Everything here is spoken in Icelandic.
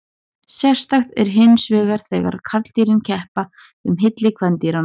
Sérstakt er hinsvegar þegar karldýrin keppa um hylli kvendýranna.